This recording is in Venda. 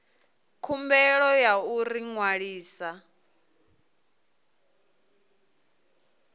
khumbelo ya u ḓi ṅwalisa